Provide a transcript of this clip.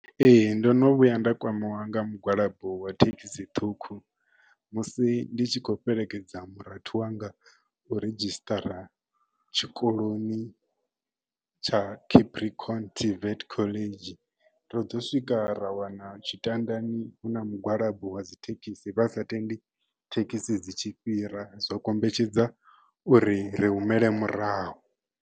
Ee ndono vhuya nda kwamea nga mugwalabo wa thekhisi ṱhukhu musi ndi tshi khou fhelekedza murathu wanga u redzhisṱara tshikoloni tsha Capricorn tvet khoḽedzhi ro ḓo swika ra wana tshitandani hu na mugwalabo wa dzi thekhisi vha sa tendi thekhisi dzi tshi fhira zwa kombetshedza uri ri humele murahu.